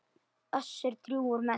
Össur drjúgur með sig.